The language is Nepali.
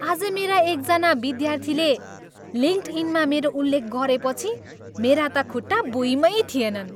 आज मेरा एकजना विद्यार्थीले लिङ्कडइनमा मेरो उल्लेख गरेपछि मेरा त खुट्टा भुईँमै थिएनन्।